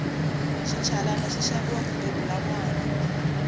xinchalani xi xaviwa ku bebula nwana